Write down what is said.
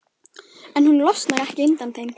En hún losnar ekki undan þeim.